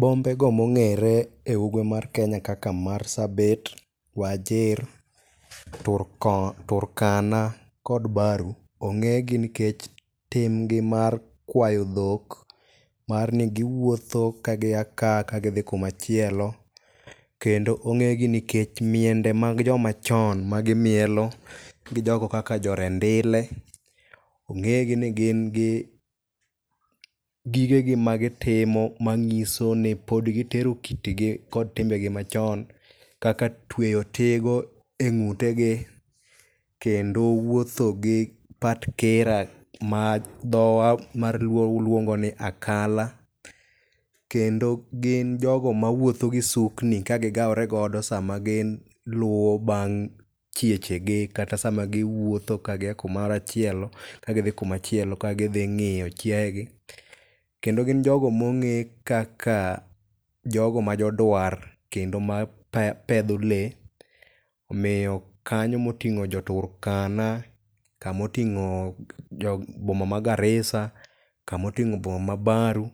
Bombego mong'ere e ugwe mar Kenya kaka Marsabit, Wajir, Turkana kod Baru ong'egi nkech timgi mar kwayo dhok mar ni giwuotho ka gia ka kagidhi kumachielo kendo ong'egi nikech miende mag jomachon ma gimielo gi jogo kaka jo Rendile ong'egi ni gin gi gigegi magitimo mang'iso ni pod gitero kitgi kod timbegi machon kaka tweyo tigo e ng'utegi kendo wuotho gi patkira ma dhowa mar luo luongo ni akala, kendo gin jogo mawuotho gi sukni kagigawregodo sama giluwo bang' kiechegi kata sama giwuotho ka gia kumoro achiel kagidhi kumachielo ka gidhing'iyo chiayegi. Kendo gin jogo mong'e kaka jogo ma jodwar kendo mapedho lee omiyo kanyo moting'o jo Turkana kamoting'o boma ma Garissa kamoting'o boma ma Baru